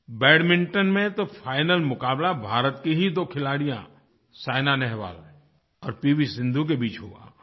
badminton में तो final मुकाबला भारत की ही दो खिलाड़ियों साइना नेहवाल और पीवी सिन्धु के बीच हुआ